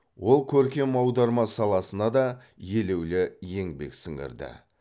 ол көркем аударма саласына да елеулі еңбек сіңірді